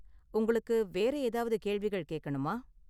உங்களுக்கு வேற ஏதாவது கேள்விகள் கேக்கணுமா?